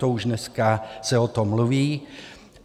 To už dneska se o tom mluví.